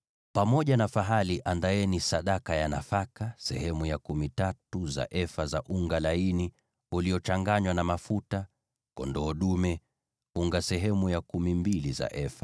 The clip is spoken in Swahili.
Pamoja na fahali, andaeni sadaka ya nafaka sehemu ya kumi tatu za efa za unga laini uliochanganywa na mafuta; kwa kondoo dume, andaa unga sehemu ya kumi mbili za efa;